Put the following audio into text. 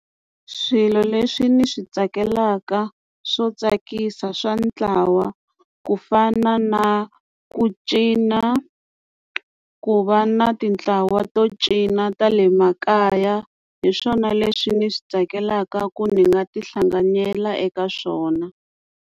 Swilo leswi ni swi tsakelaka swo tsakisa swa ntlawa ku fana na ku cina ku va na ti ntlawa to cina ta le makaya hi swona leswi ndzi swi tsakelaka ku ni nga ti hlanganyela eka swona.